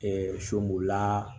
sobolila